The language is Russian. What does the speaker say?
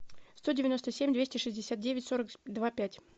сто девяносто семь двести шестьдесят девять сорок два пять